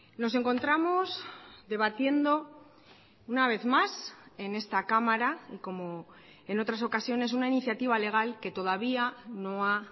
nos encontramos debatiendo una vez más en esta cámara y como en otras ocasiones una iniciativa legal que todavía no ha